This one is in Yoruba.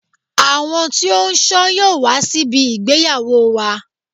Àwọn tí ó ṣọ yóò wá síbi ìgbéyàwó wa.